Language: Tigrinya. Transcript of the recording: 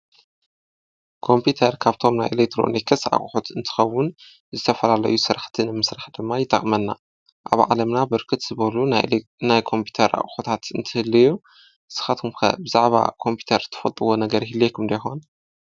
ኮምፒተር ካብቶም ናይ ኤለክትሮኒክስ እቁሑት እንትኸውን ዝተፈላለዩ ስራሕቲ ንምስራሕ ድማ ይጠቅመና። አብ ዓለምና ብርክት ዝበሉ ናይ ኮምፒተር አቁሑታት እንትህልዩ ንስካትኩም ከ ብዚዕባ ኮምፒተር ትፈልጥዎ ነገር ይህሉልየኩም ዶ ይኮን?